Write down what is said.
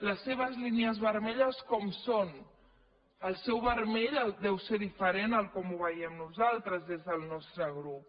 les seves línies vermelles com són el seu vermell deu ser diferent de com ho veiem nosaltres des del nostre grup